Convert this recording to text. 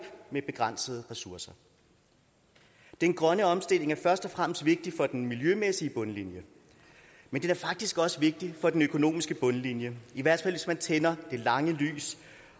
har begrænsede ressourcer den grønne omstilling er først og fremmest vigtig for den miljømæssige bundlinje men den er faktisk også vigtig for den økonomiske bundlinje i hvert fald hvis man tænder det lange lys